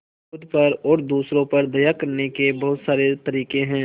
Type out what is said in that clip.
खुद पर और दूसरों पर दया करने के बहुत सारे तरीके हैं